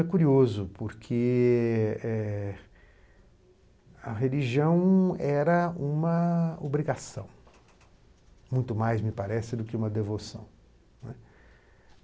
É curioso, porque eh a religião era uma obrigação, muito mais, me parece, do que uma devoção, né.